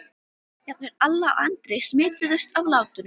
Jafnvel Alla og Andri smituðust af látunum.